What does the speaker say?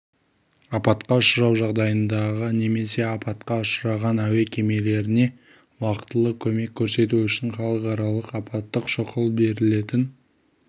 апатқа ұшырау жағдайындағы немесе апатқа ұшыраған әуе кемелеріне уақтылы көмек көрсету үшін халықаралық апаттық шұғыл берілетін